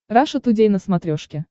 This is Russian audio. раша тудей на смотрешке